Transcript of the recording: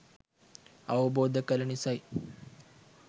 අවබෝධ කළ නිසයි.